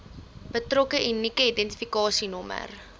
betrokke unieke identifikasienommer